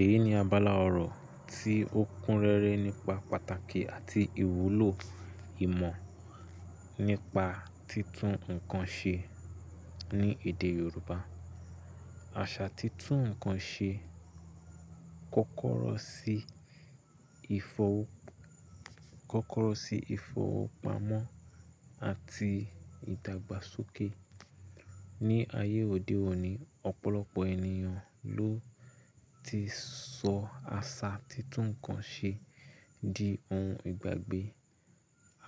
Èyí ni abala ọ̀rọ̀ tí ó kúnrẹ́rẹ́ nípa pàtàkì àti ìwúlò ìmọ̀ nípa títún nǹkan ṣe ní èdè Yorùbá. Àṣà títún nǹkan ṣe kó kọ́rọ́ sí ìfowópamọ́ àti ìdàgbàsókè. Ní ayé òde òní, ọ̀pọ̀lọpọ̀ ènìyàn ló ti sọ àṣà títún nǹkan ṣe di ohun ìgbàgbé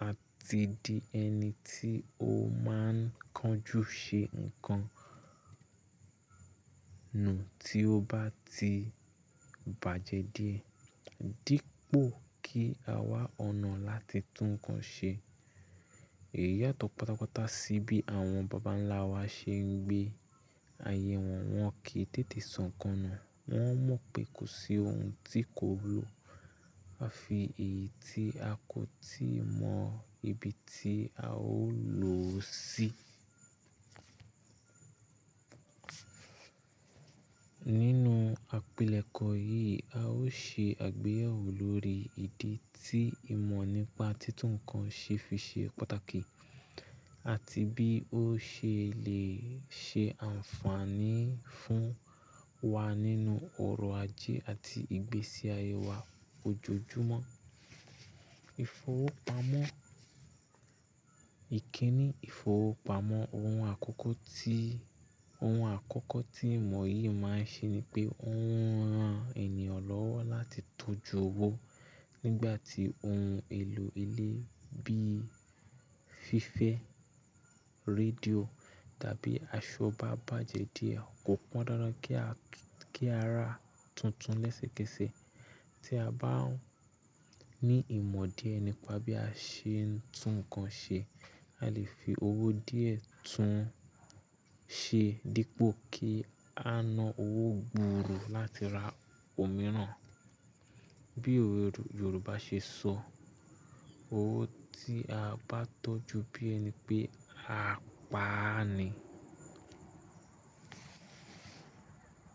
àti di ẹni tí ó máa ń kánjú ṣe nǹkan nù tí ó bá ti bàjẹ́ di ẹ, dípò kí a wá ọ̀nà láti tún nǹkan ṣe. Èyí yàtọ̀ pátápátá sí bí àwọn bàbá ńlá wa ṣe ń gbé ayé wọn, wọ́n kì í tètè sọ́nkán nù, wọ́n mọ̀ pé kò sí ohun tí kò wu lọ́, àfi èyí tí a kò tí ì mọ ibi tí a ó lò ó sí. Nínú àpilẹ̀kọ yìí, a ó ṣe àgbéyẹ̀wò lórí ìdí tí ìmọ̀ nípa títún nǹkan ṣe fi ṣe pàtàkì àti bí ó ṣe lè ṣe ànfààní fún wa nínú ọrọ̀ ajé àti ìgbésí ayé wa ojoojúmọ́. Ìfowópamọ́. Ìkíni ìfowópamọ́ ohun àkọ́kọ́ tí ohun àkọ́kọ́ tí ìmọ̀ yìí máa ń ṣe ni pé ó ń ran ènìyàn lọ́wọ́ láti tọ́jú owó nígbà tí ohun èlò ilé bí fífẹ́, rédíò tàbí aṣọ bá bàjẹ́ di ẹ, kò pọn dandan kí a kí a ra tuntun lẹ́sẹ̀kẹsẹ̀. Tí a bá ní ìmọ̀ díẹ̀ nípa bí a ṣe ń tún nǹkan ṣe, a lè fi owó díẹ̀ tún un ṣe dípò kí a ná owó gbuuru láti ra òmíràn. Bí owe Yorùbá ṣe sọ, "owó tí a bá tọ́jú bí ẹni pé, á pa á ni."